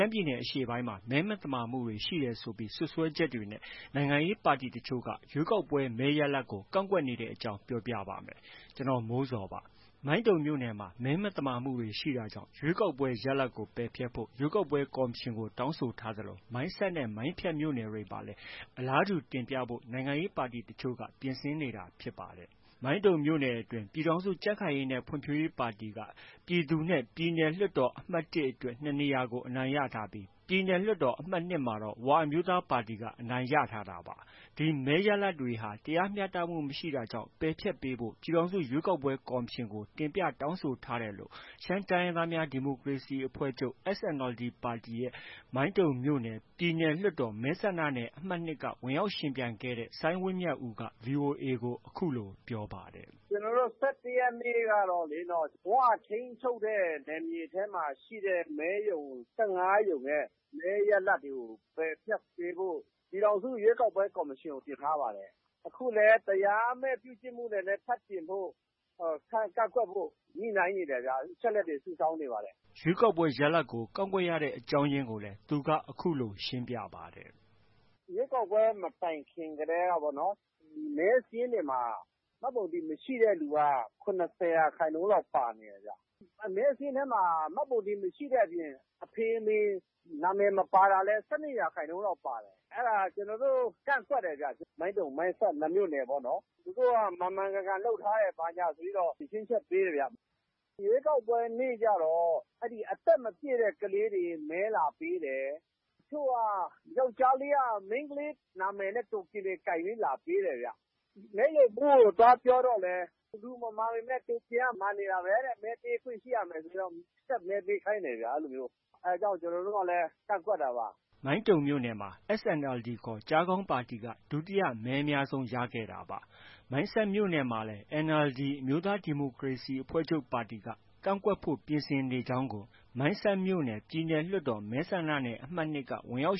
မ်းပြည်နယ်အရှေ့ပိုင်းမှာ မဲမသမာမှုတွေ ရှိတယ်ဆိုတဲ့ စွပ်စွဲချက်နဲ့ နိုင်ငံရေးပါတီတချို့က ရွေးကောက်ပွဲမဲရလဒ်ကို ကန့်ကွက်နေတဲ့အကြောင်း ဗွီအိုအေသတင်းထောက် ကိုမိုးဇော် အခုလိုသတင်းပေးပို့ထားပါတယ်။ မိုင်းတုံမြို့နယ်မှာ မဲမသမာမှုတွေရှိတာကြောင့် ရွေးကောက်ပွဲရလဒ်ကို ပယ်ဖျက်ဖို့ ရွေးကောက်ပွဲကော်မရှင်ကို တောင်းဆိုထားသလို၊ မိုင်းဆတ်နဲ့ မိုင်းဖြတ်မြို့နယ်တွေမှာလည်း အလားတူတင်ပြဖို့ နိုင်ငံရေးပါတီတချို့ ပြင်ဆင်နေတာ ဖြစ်ပါတယ်။ မိုင်းတုံမြို့နယ်အတွင်း ပြည်ထောင်စုကြံ့ခိုင်ရေးနဲ့ ဖွံ့ဖြိုးရေးပါတီက ပြည်သူနဲ့ ပြည်နယ်လွှတ်တော် အမှတ် ၁ အတွက် ၂နေရာကို အနိုင်ရထားပြီး ပြည်နယ်လွှတ်တော် အမှတ် ၂ မှာ ၀ အမျိုးသားပါတီက အနိုင်ရထားတာပါ။ ဒီမဲရလဒ်တွေဟာ တရားမျှတမှုမရှိတာကြောင့် ပယ်ဖျက်ပေးဖို့ ပြည်ထောင်စု ရွေးကောက်ပွဲကော်မရှင်ကို တင်ပြတောင်းဆိုထားတယ်လို့ ရှမ်းတိုင်းရင်းသားများ ဒီမိုကရေစီအဖွဲ့ချုပ် SNLD၊ မိုင်းတုံမြို့နယ် ပြည်နယ်လွှတ်တော် မဲဆန္ဒနယ် အမှတ် ၂က ဝင်ရောက်ယှဉ်ပြိုင်ခဲ့တဲ့ စိုင်းဝင်းမြတ်ဦးက VOA ကို အခုလို ပြောပါတယ်။ “ ကျနော်တို့ ၁၁ရက်နေ့ကတော့ ၀ ထိန်းချုပ်တဲ့ နယ်မြေထဲမှာ ရှိတဲ့ မဲရုံ ၁၅ရုံရဲ့ မဲရလဒ်တွေကို ပယ်ဖျက်ပေးဖို့ ပြည်ထောင်စု ရွေးကောက်ပွဲကော်မရှင်ကို တင်ထားပါတယ်။ အခုလည်း တရားမဲ့ ပြု့ကျင့်မှုတွေနဲ့ ထပ်တင်ဖို့ ကန့်ကွက်ဖို့ ထပ်တင်ဖို့ အချက်အလက်တွေ စုဆောင်းနေပါတယ်။” ရွေးကောက်ပွဲ ရလဒ်ကို ကန့်ကွက်ရတဲ့ အကြောင်းရင်းကိုလည်း သူကအခုလို ရှင်းပြပါတယ်။ “ ရွေးကောက်ပွဲ မတိုင်ခင်ကတည်းက မဲစာရင်းတွေမှာ မှတ်ပုံတင်မရှိတဲ့လူက ၇၀ ရာခိုင်နှုန်းလောက်ပါ နေတယ်။ မဲစာရင်းထဲမှာ မှတ်ပုံတင်မရှိတဲ့အပြင် အဖေ၊ အမေ နံမည်မပါတာလည်း ၁၂ရာခိုင်နှုန်း လောက်ပါတယ်။ အဲဒါ ကျနော်တို့ ကန့်ကွက်တယ်ဗျ။ မိုင်းတုံ၊ မိုင်းဆတ် ၂မြို့နယ်ပေါ့။ သူတို့က မှန်မှန်ကန်ကန်လုပ်ထားတယ်ဆိုပြီးတော့ ဖြေရှင်းချက် ပေးတယ်ဗျ။ အဲဒီ ရွေးကောက်ပွဲနေ့ကျတော့ အသက်မပြည့်တဲ့ ကလေးတွေ မဲလာပေးတယ်။ တချို့ ယောက်ျားလေးက မိန်းကလေး နံမည်နဲ့ တိုကင်တွေ ကိုင်ပြီး လာပေးတယ်ဗျ။ မဲရုံမှုးကို သွားပြောတော့လည်း လူမမှန်ပေမဲ့ တိုကင်က မှန်နေတာပဲ မဲပေးခွင့်ရှိရမယ်ဆိုပြီးတော့ ဆက်မဲပေးခိုင်းတယ်ဗျ။ အဲလိုမျိုး။ အဲဒါကြောင့် ကျနော်တို့ကလည်း ကန့်ကွက်တာပါ။ ” မိုင်းတုံမြို့နယ်မှာ SNLD ခေါ် ကျားခေါင်းပါတီက ဒုတိယမဲအများဆုံး ရခဲ့တာပါ။ မိုင်းဆတ်မြို့နယ်မှာလည်း NLD အမျိုးသားဒီမိုကရေစီ အဖွဲ့ချုပ်ပါတီက ကန့်ကွက်ဖို့ ပြင်ဆင်နေကြောင်းကို မိုင်းဆတ်မြို့နယ် ပြည်နယ်လွှတ်တော် မဲဆန္ဒနယ် အမှတ် ၂က ဝင်ရောက်